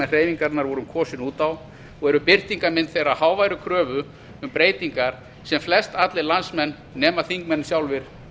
hreyfingarinnar vorum kosin út á og eru birtingamenn þeirrar háværu kröfu um breytingar sem flestallir landsmenn nema þingmenn sjálfir